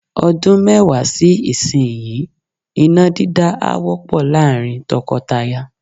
Ọdún mẹ́wàá sí ìsinyìí, iná dídá á wọ́pọ̀ láàrín tọkọtaya.